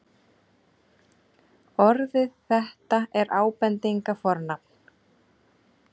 orðið þetta er ábendingarfornafn